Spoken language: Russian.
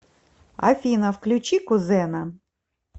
афина включи кузена